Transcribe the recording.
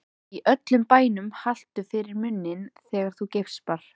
Í öllum bænum haltu fyrir munninn þegar þú geispar.